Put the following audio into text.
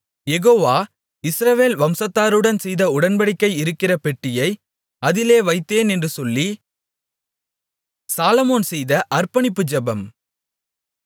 யெகோவா இஸ்ரவேல் வம்சத்தாருடன் செய்த உடன்படிக்கை இருக்கிற பெட்டியை அதிலே வைத்தேன் என்று சொல்லி